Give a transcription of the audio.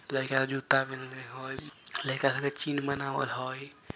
लइका जुत्ता पेहेने हय लइका खातिर चिन्न बनावल हय।